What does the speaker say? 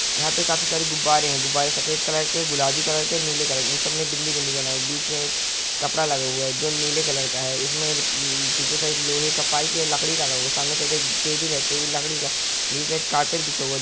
यहां पे काफी सारे गुब्बारे हैं। गुब्बारे सफेद कलर के गुलाबी कलर के नीले कलर के इनसब में बिंदी बिंदी बने हुए हैं। बीच में एक कपड़ा लगा हुआ है जो नीले कलर का है। उसमें ल ल पीछे साइड लोहे का पाइप या लकड़ी लगा हुआ है। सामने से एक टेबल है। टेबल लड़की का है। नीचे साइड कार्पेट बिछे हुए हैं।